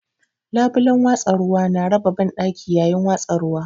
Labulen watsa ruwa na raba banɗaki yayin watsa ruwa.